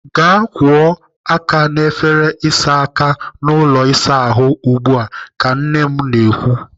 "Gaa kwụọ aka n'efere ịsa aka n'ụlọ ịsa ahụ ugbu a!" ka nne m na-ekwu.